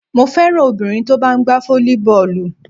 Mo féràn obìnrin tó bá ń gbá fólíbọ́ọ̀lù.